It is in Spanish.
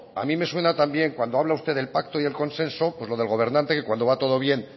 a mí me suena también cuando habla usted del pacto y el consenso pues lo del gobernante que cuando va todo bien